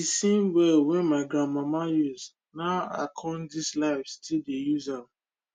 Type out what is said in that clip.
de same well wen my grandmama use na i come dis life still dey use am